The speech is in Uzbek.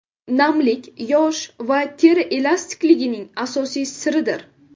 Namlik yosh va teri elastikligining asosiy siridir.